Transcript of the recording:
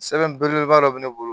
Sɛbɛn belebeleba dɔ bɛ ne bolo